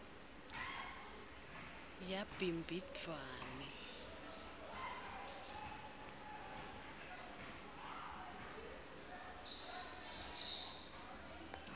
yabhimbidvwane